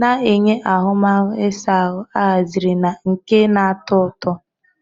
na-enye ahụmahụ ịsa ahụ ahaziri na nke na-atọ ụtọ.